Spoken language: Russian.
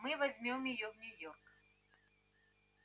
мы возьмём её в нью-йорк